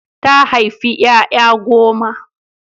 Ta haifi ƴaƴa goma.